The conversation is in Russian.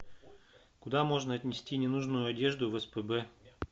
куда можно отнести ненужную одежду в спб